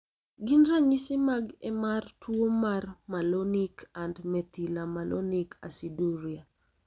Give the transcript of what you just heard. Gin ranyisi mag emar tuo malonic and methylmalonic aciduria?